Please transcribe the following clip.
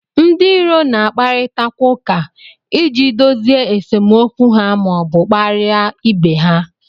Ndị iro na-akparịtakwa ụka iji dozie esemokwu ha ma ọ bụ kparịa ibe ha